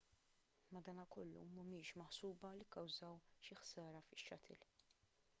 madankollu mhumiex maħsuba li kkawżaw xi ħsara fix-shuttle